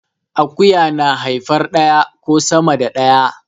Akuya na haifar daya ko sama da daya